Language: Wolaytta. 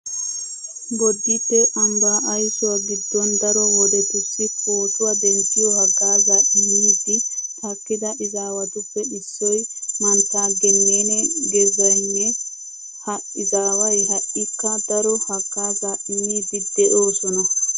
Bodditte ambbaa aysuwa giddon daro wodetussi pootuwa denttiyo haggaazaa immiiddi takkida izaawatuppe issoy mantta gennene gezahenynya. Ha izaaway ha"ikka daro haggaazaa immiiddi de'oosona.